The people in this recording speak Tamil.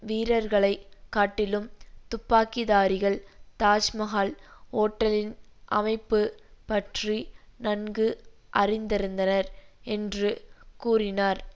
வீரர்களை காட்டிலும் துப்பாக்கிதாரிகள் தாஜ்மஹால் ஓட்டலின் அமைப்பு பற்றி நன்கு அறிந்திருந்தனர் என்று கூறினார்